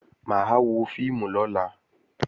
Mà á wọ fíìmù lọ́la